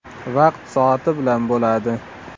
Vaqt-soati bilan bo‘ladi.